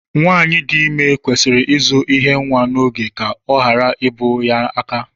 Nwaanyị di ime kwesịrị ịzụ ihe nwa n'oge ka ọ ghara ibu ya aka.